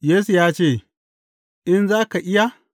Yesu ya ce, In za ka iya’?